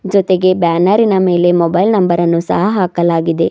ಜೊತೆಗೆ ಬ್ಯಾನರಿನ ಮೇಲೆ ಮೊಬೈಲ್ ನಂಬರ್ ಅನ್ನು ಸಹ ಹಾಕಲಾಗಿದೆ.